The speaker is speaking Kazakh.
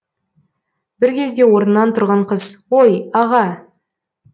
бір кезде орнынан тұрған қыз ой аға